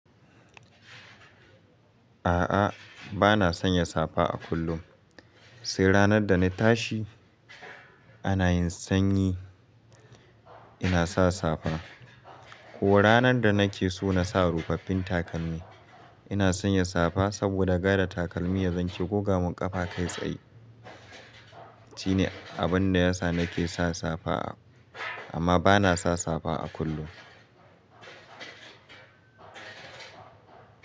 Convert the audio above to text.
A'a, bana sanya safa a kullum. Sai ranar da na tashi ana yin sanyi, ina sa safa. Ko ranar da nake so na sa rufaffin takalmi, ina sanya safa saboda gada takalmi ya zanka ko gomun ƙafa kai tsayi. Shine abun da yasa nake sa safa amma bana sa safa a kullum.